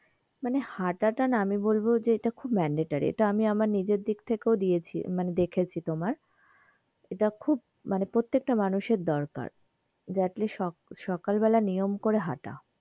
মানে হাটা টা না আমি বলবো যে এটা খুব mandatory এটা আমি আমার নিজের দিক থেকেও দিয়েছি মানে দেখেছি তোমার এটা খুব মানে প্রত্যেকটা মানুষের দরকার যে atleast সকাল বেলা নিয়ম করে হাঁটা,